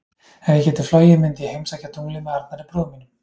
Ef ég gæti flogið myndi ég heimsækja tunglið með Arnari bróður mínum.